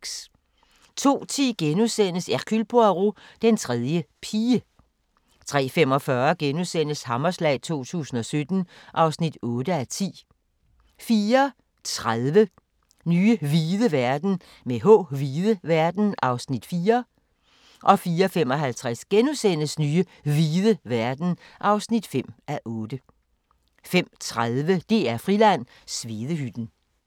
02:10: Hercule Poirot: Den tredje pige * 03:45: Hammerslag 2017 (8:10)* 04:30: Nye hvide verden (4:8) 04:55: Nye hvide verden (5:8)* 05:30: DR-Friland: Svedehytten